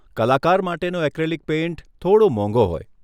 કલાકાર માટેનો acrylic paint થોડો મોંઘો હોય.